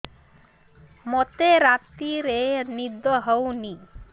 ମୋତେ ରାତିରେ ନିଦ ହେଉନି